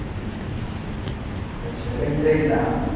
Special ಎಂತ ಇಲ್ಲಾ.